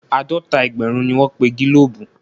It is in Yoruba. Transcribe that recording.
Àádọ́ta ẹgbẹ̀rún ni wọ́n pe gílòòbù.